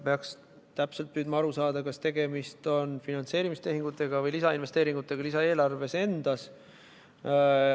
Peaks püüdma täpselt aru saada, kas tegemist on finantseerimistehingutega või lisainvesteeringutega lisaeelarves endas.